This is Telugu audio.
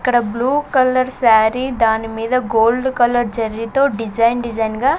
అక్కడ బ్లూ కలర్ శారీ దాని మీద గోల్డ్ కలర్ జరీ తో డిజైన్ డిజైన్ గా--